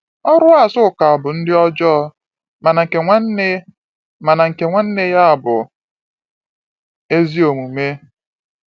“Ọrụ Azuka bụ ndị ọjọọ, mana nke nwanne mana nke nwanne ya bụ ezi omume.”